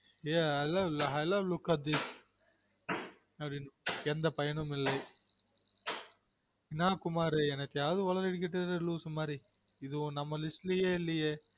Hello look at this அப்டினு எந்த பயனும் இல்லை என்னா குமாரு என்னத்தயாவது உளறிகிட்டு இரு loosu மாதிரி இது நம்ம list லயெ இல்லயெ